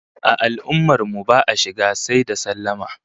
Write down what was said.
A al'ummar mu ba'a shiga sai da sallama